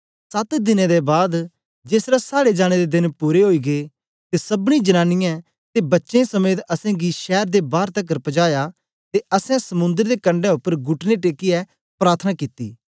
सत दिने दे बाद जेसलै साड़े जाने दे देन पूरे ओई गै ते सबनी जनांनीयें ते बच्चें समेत असेंगी शैर दे बार तकर पजाया ते असैं समुन्दर दे कंडै उपर घुटने टेकियै प्रार्थना कित्ती